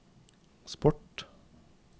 sport